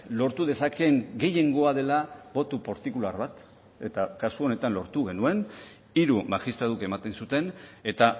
lortu dezakeen gehiengoa dela boto partikular bat eta kasu honetan lortu genuen hiru magistratuk ematen zuten eta